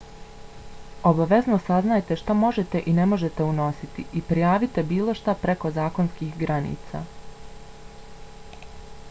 obavezno saznajte šta možete i ne možete unositi i prijavite bilo šta preko zakonskih granica